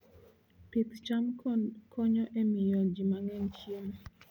Pith cham konyo e miyo ji mang'eny chiemo.